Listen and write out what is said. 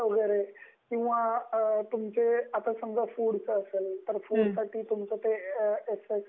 shop act वैगेरे आणि आता समजा तुमचं फ़ूड चं असेल